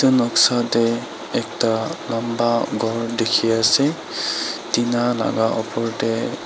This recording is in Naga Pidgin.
noksa teh ekta lamba khor teki ase tina alaga opor teh.